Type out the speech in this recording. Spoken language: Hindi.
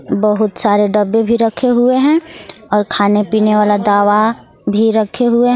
बहुत सारे डब्बे भी रखे हुए है और खाने पीने वाला दवा भी रखे हुए--